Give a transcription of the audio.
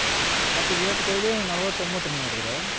ಮತ್ತೆ ವಿರಾಟ್ ಕೊಹ್ಲಿ ನಲವತ್ತೊಂಬತ್ runಹೊಡಿದ್ರು